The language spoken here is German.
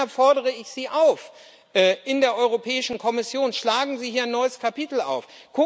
Deshalb fordere ich Sie in der Europäischen Kommission auf Schlagen Sie hier ein neues Kapitel auf!